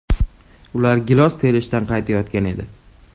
Ular gilos terishdan qaytayotgan edi.